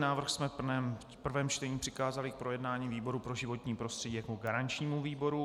Návrh jsme v prvém čtení přikázali k projednání výboru pro životní prostředí jako garančnímu výboru.